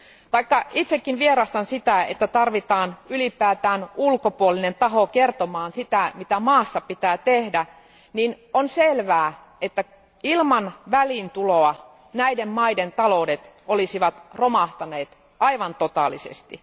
Vaikka itsekin vierastan sitä, että tarvitaan ylipäätään ulkopuolinen taho kertomaan, mitä maassa pitää tehdä, niin on selvää, että ilman väliintuloa näiden maiden taloudet olisivat romahtaneet aivan totaalisesti.